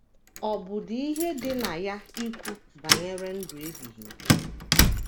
Ọ̀ bụdị ihe dị na ya ikwu banyere ndụ ebighị ebi?